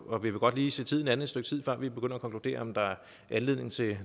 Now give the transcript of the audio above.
og vi vil godt lige se tiden an et stykke tid før vi begynder at konkludere om der er anledning til